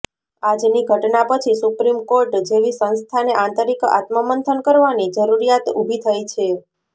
આજની ઘટના પછી સુપ્રીમકોર્ટ જેવી સંસ્થાને આંતરિક આત્મમંથન કરવાની જરૂરિયાત ઊભી થઈ છે